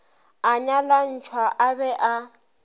a nyalantšhwa a be a